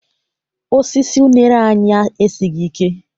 Osisi unere anyị esighị ike.